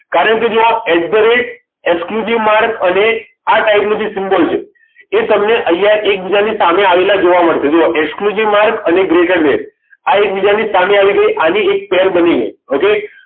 કારણ કે જુઓ at the rate sq જે માર્ક અને આ type નો જે symbol છે એ તમને અહીંયા એકબીજાની સામે આવેલા જોવા મળશે જુઓ જે માર્ગ અને greater then આ એકબીજાની સામે આવી ગઈ આની એક pair બનશે